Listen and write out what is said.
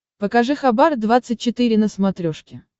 покажи хабар двадцать четыре на смотрешке